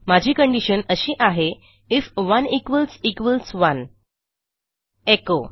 माझी कंडिशन अशी आहे आयएफ 1 1 एचो